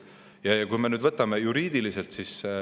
Ja võtame juriidiliselt.